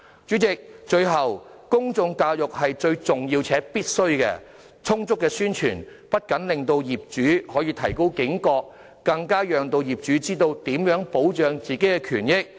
主席，最後，公眾教育是重要且必須的，充足的宣傳不僅可以令業主提高警覺，更可讓業主知道如何保障自己的權益。